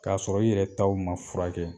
K'a sɔrɔ i yɛrɛ taw ma furakɛ